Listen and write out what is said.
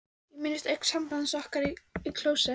Ég minnist augnsambands okkar í klósett